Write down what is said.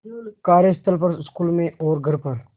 कार्यस्थल पर स्कूल में और घर पर